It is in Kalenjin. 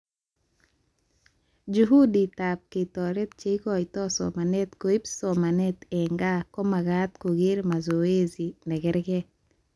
Juhuditab ketoret cheikotoi somanet koib somanet eng gaa komagat koker mazoesi nekerke